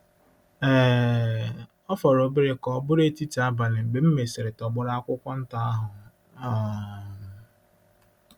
um * Ọ fọrọ obere ka ọ bụrụ etiti abalị mgbe m mesịrị tọgbọrọ akwụkwọ nta ahụ um.